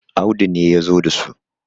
Audu ne ya zo da su